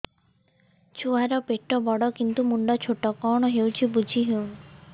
ଛୁଆର ପେଟବଡ଼ କିନ୍ତୁ ମୁଣ୍ଡ ଛୋଟ କଣ ହଉଚି କିଛି ଵୁଝିହୋଉନି